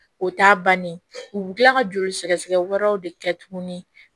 O t'a bannen u bɛ tila ka joli sɛgɛsɛgɛ wɛrɛw de kɛ tuguni